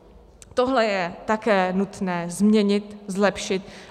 Tohle je také nutné změnit, zlepšit.